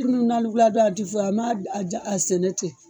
a ti fɔ a ma a ja a sɛnɛ ten.